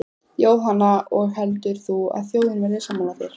Jóhanna: Og heldur þú að þjóðin verði sammála þér?